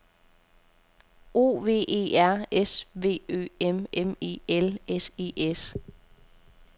O V E R S V Ø M M E L S E S